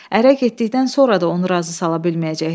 Ərə getdikdən sonra da onu razı sala bilməyəcəkdi.